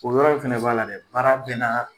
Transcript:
O yɔrɔ in fana b'a la dɛ baara bɛɛ na